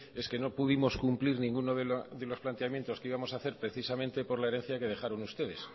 es que no pudimos cumplir ninguno de los planteamientos que íbamos a hacer precisamente por la herencia que dejaron ustedes